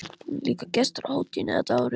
Hún er líka gestur á hátíðinni þetta árið.